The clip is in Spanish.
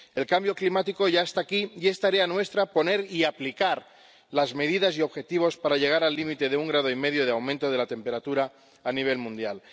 El cambio climático ya está aquí y es tarea nuestra poner y aplicar las medidas y objetivos para llegar al límite de un grado y medio de aumento de la temperatura a nivel mundial.